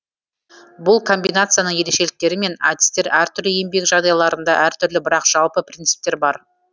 бұл комбинацияның ерекшеліктері мен әдістері әртүрлі еңбек жағдайларында әртүрлі бірақ жалпы принциптер бар